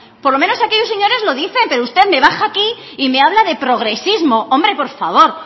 por lo menos aquellos señores lo dicen pero usted me baja aquí y me habla de progresismo hombre por favor